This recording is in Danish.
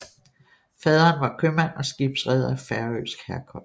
Faderen var købmand og skibsreder af færøsk herkomst